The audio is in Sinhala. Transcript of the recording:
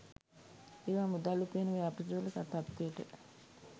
ඒවා මුදල් උපයන ව්‍යාපෘතිවල තත්ත්වයට